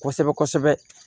Kosɛbɛ kosɛbɛ